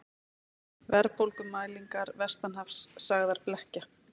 Verðbólgumælingar vestanhafs sagðar blekkja